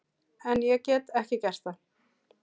En ég get ekki gert það.